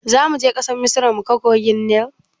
Zamuje ƙasar misra muga kogin nil?